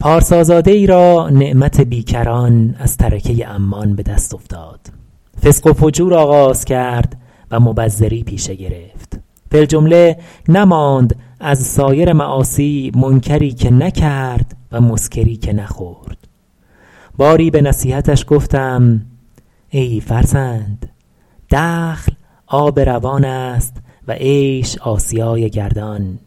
پارسازاده ای را نعمت بیکران از ترکه عمان به دست افتاد فسق و فجور آغاز کرد و مبذری پیشه گرفت فی الجمله نماند از سایر معاصی منکری که نکرد و مسکری که نخورد باری به نصیحتش گفتم ای فرزند دخل آب روان است و عیش آسیای گردان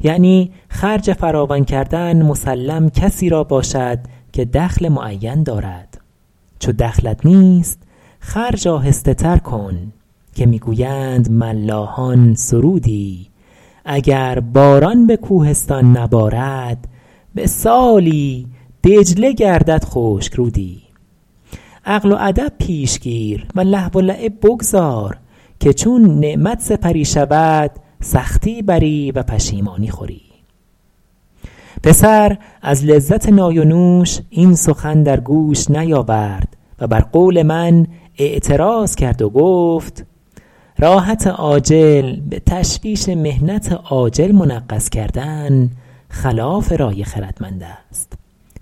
یعنی خرج فراوان کردن مسلم کسی را باشد که دخل معین دارد چو دخلت نیست خرج آهسته تر کن که می گویند ملاحان سرودی اگر باران به کوهستان نبارد به سالی دجله گردد خشک رودی عقل و ادب پیش گیر و لهو و لعب بگذار که چون نعمت سپری شود سختی بری و پشیمانی خوری پسر از لذت نای و نوش این سخن در گوش نیاورد و بر قول من اعتراض کرد و گفت راحت عاجل به تشویش محنت آجل منغص کردن خلاف رای خردمند است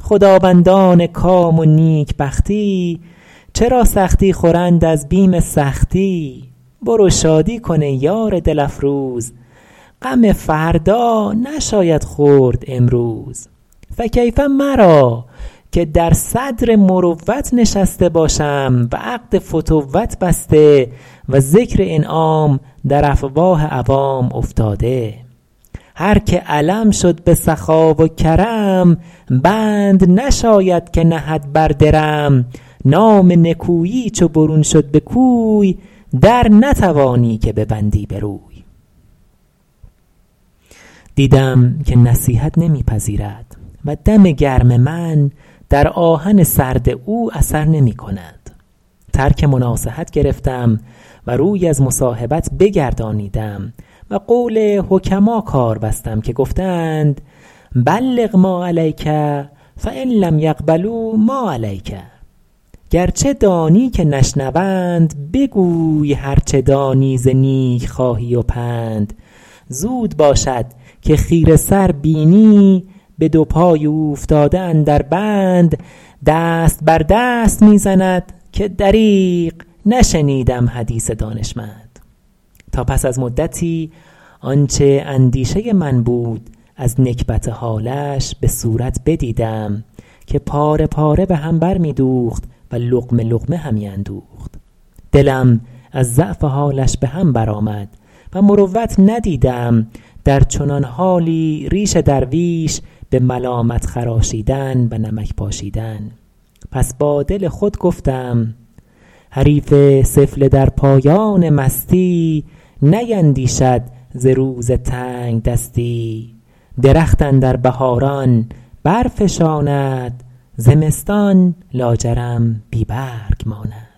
خداوندان کام و نیکبختی چرا سختی خورند از بیم سختی برو شادی کن ای یار دل افروز غم فردا نشاید خورد امروز فکیف مرا که در صدر مروت نشسته باشم و عقد فتوت بسته و ذکر انعام در افواه عوام افتاده هر که علم شد به سخا و کرم بند نشاید که نهد بر درم نام نکویی چو برون شد به کوی در نتوانی که ببندی به روی دیدم که نصیحت نمی پذیرد و دم گرم من در آهن سرد او اثر نمی کند ترک مناصحت گرفتم و روی از مصاحبت بگردانیدم و قول حکما کار بستم که گفته اند بلغ ما علیک فان لم یقبلوا ما علیک گرچه دانی که نشنوند بگوی هر چه دانی ز نیکخواهی و پند زود باشد که خیره سر بینی به دو پای اوفتاده اندر بند دست بر دست می زند که دریغ نشنیدم حدیث دانشمند تا پس از مدتی آنچه اندیشه من بود از نکبت حالش به صورت بدیدم که پاره پاره به هم بر می دوخت و لقمه لقمه همی اندوخت دلم از ضعف حالش به هم بر آمد و مروت ندیدم در چنان حالی ریش درویش به ملامت خراشیدن و نمک پاشیدن پس با دل خود گفتم حریف سفله در پایان مستی نیندیشد ز روز تنگدستی درخت اندر بهاران بر فشاند زمستان لاجرم بی برگ ماند